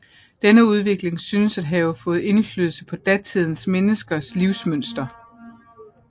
Denne udvikling synes at have fået indflydelse på datidens menneskers livsmønster